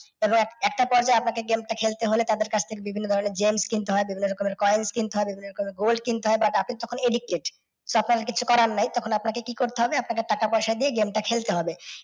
এবং একটা পর্যায়ে আপনাকে game টা খেলতে হলে তাদের কাছ থেকে বিভিন্ন ধরণের gems কিনতে হয়। নানা রকমের coins কিনতে হবে, বিভিন্ন রকমের golds কিনতে হয় কারণ আপনি তখন addicted তখন আর কিছু কয়ার নেই তখন আপনাকে কি করতে হবে আপনাকে টাকা পয়সা দিয়ে game টা কে খেলতে হবে।